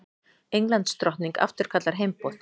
Englandsdrottning afturkallar heimboð